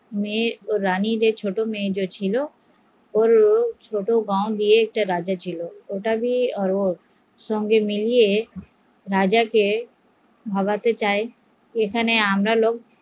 ছোট মেয়ের স্বামী যে রাজা ছিল সে ছোট গাও এর ছিল তার সাথে মিলে ও রাজাকে ভাবতে চায়